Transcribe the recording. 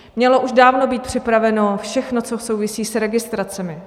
Mělo už dávno být připraveno všechno, co souvisí s registracemi.